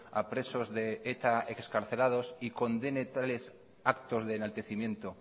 a presos de eta excarcelados y condene tales actos de enaltecimiento